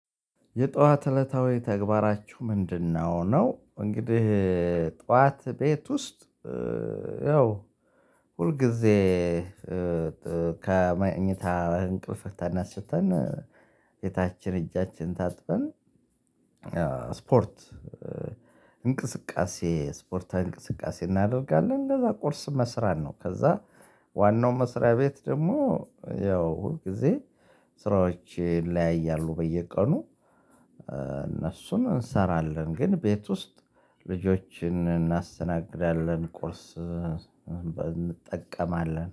የጧት እለታዊ ተግባራችሁ ምንድነው? ነው እንግዲህ ጧት ቤት ውስጥ ያው ሁል ጊዜ ከማኝታ እንቅልፍህ ተናስተን ፊታችን እጃችን ታጥበን ስፖርት ስፖርታዊ እንቅስቃሴ እናደርጋለን እንደዛ ቁርስ መስራት ነው። ከዛ ዋናው መስሪያ ቤት ደግሞ ያው ሁል ጊዜ ስራዎችን ይለያያሉ በየቀኑ እንሰራለን። ግን ቤት ውስጥ ልጆችን እናስተናግዳለን ቁርስ እንጠቀማለን